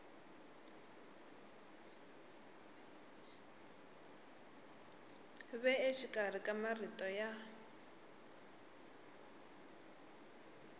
ve exikarhi ka marito ya